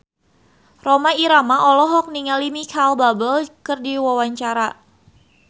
Rhoma Irama olohok ningali Micheal Bubble keur diwawancara